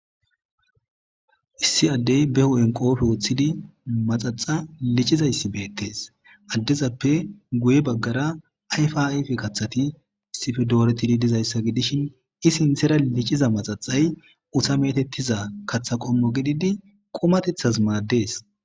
issi addey beho7en qoofe woththidi maxaxa licizayssi beettes addezappe guye baggara ayfaife kathati issife dooretidi dizayssa gidishin i sinthera liciza maxaxay uta metettiza kathaqommo gididi qumatethas maaddees